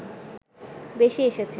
বেশি এসেছে